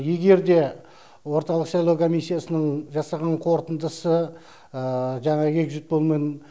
егер де орталық сайлау комиссиясының жасаған қорытындысы жаңағы эгзит полмен